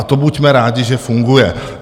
A to buďme rádi, že funguje.